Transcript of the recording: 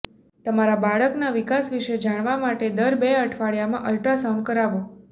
તમારા બાળકના વિકાસ વિશે જાણવા માટે દર બે અઠવાડિયામાં અલ્ટ્રાસાઉન્ડ કરાવો